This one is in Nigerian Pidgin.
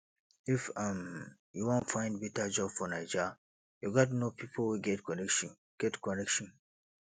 if um you wan find beta job for naija you gats know pipo wey get connection get connection